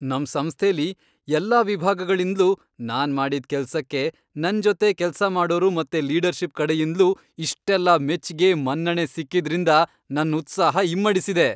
ನಮ್ ಸಂಸ್ಥೆಲಿ ಎಲ್ಲ ವಿಭಾಗಗಳಿಂದ್ಲೂ ನಾನ್ ಮಾಡಿದ್ ಕೆಲ್ಸಕ್ಕೆ ನನ್ ಜೊತೆ ಕೆಲ್ಸ ಮಾಡೋರು ಮತ್ತೆ ಲೀಡರ್ಷಿಪ್ ಕಡೆಯಿಂದ್ಲೂ ಇಷ್ಟೆಲ್ಲ ಮೆಚ್ಗೆ, ಮನ್ನಣೆ ಸಿಕ್ಕಿದ್ರಿಂದ ನನ್ ಉತ್ಸಾಹ ಇಮ್ಮಡ್ಸಿದೆ.